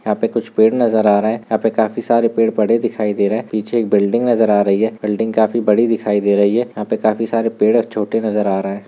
यहाँ पे कुछ पेड़ नजर आ रहे है यहाँ पे काफी सारे पेड़ पड़े दिखाई दे रही है पीछे एक बिल्डिंग नजर आ रही है बिल्डिंग काफी बड़ी दिखाई दे रही है यहाँ पे काफी सारे पेड़ और छोटे नजर आ रहे हैं।